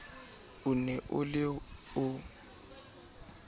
o ne o le o